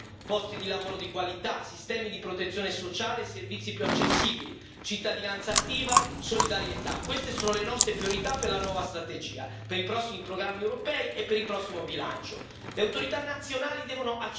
Istruzione, cultura, salute, posti di lavoro di qualità, sistemi di protezione sociale, servizi più accessibili, cittadinanza attiva, solidarietà queste sono le nostre priorità per la nuova strategia, per i prossimi programmi europei e per il prossimo bilancio.